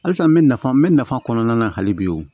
Halisa n bɛ nafa n bɛ nafa kɔnɔna na hali bi